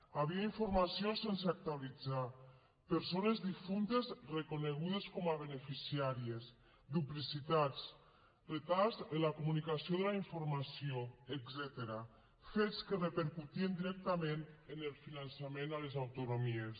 hi havia informació sense actualitzar persones difuntes reconegudes com a beneficiàries duplicitats retards en la comunicació de la informació etcètera fets que repercutien directament en el finançament a les autonomies